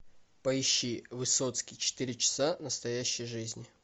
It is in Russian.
поищи высоцкий четыре часа настоящей жизни